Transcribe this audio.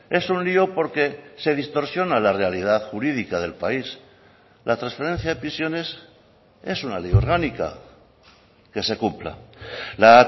es un lio porque se distorsiona la realidad jurídica del país la transferencia de prisiones es una ley orgánica que se cumpla la